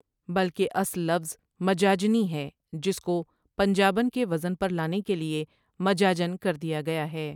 بلکہ اصل لفظ مجاجنی ہے جس کو پنجابن کے وزن پر لانے کے لیے مجاجن کر دیا گیا ہے۔